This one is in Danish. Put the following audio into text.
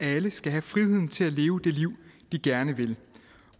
alle skal have friheden til at leve det liv de gerne vil